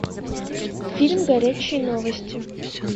фильм горячие новости